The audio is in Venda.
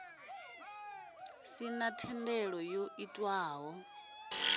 sina na thendelano yo itwaho